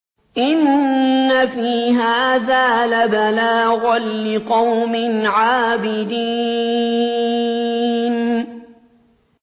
إِنَّ فِي هَٰذَا لَبَلَاغًا لِّقَوْمٍ عَابِدِينَ